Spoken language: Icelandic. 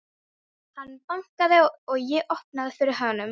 Hann bankaði og ég opnaði fyrir honum.